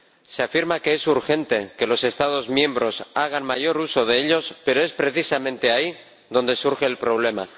Se afirma que es urgente que los Estados miembros hagan mayor uso de ellos, pero es precisamente ahí donde surge el problema.